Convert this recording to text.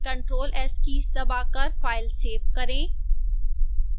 ctrl + s keys दबाकर file save करें